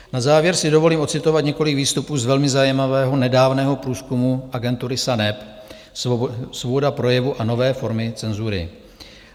Na závěr si dovolím odcitovat několik výstupů z velmi zajímavého nedávného průzkumu agentury SANEP - Svoboda projevu a nové formy cenzury.